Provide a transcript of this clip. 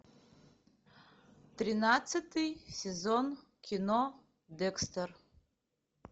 тринадцатый сезон кино декстер